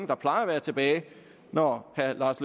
der plejer at være tilbage når herre lars